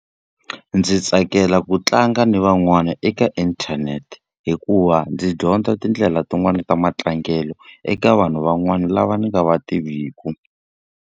Ndzi tsakela ku tlanga ni van'wana eka inthanete hikuva ndzi dyondza tindlela tin'wani ta matlangelo eka vanhu van'wana lava ni nga va tiviku.